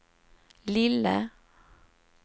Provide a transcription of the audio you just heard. lille